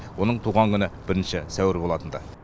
оның туған күні бірінші сәуір болатын ды